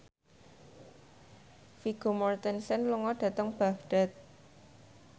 Vigo Mortensen lunga dhateng Baghdad